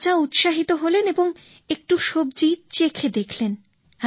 রাজা উৎসাহিত হলেন এবং একটু সবজি চেখে দেখলেন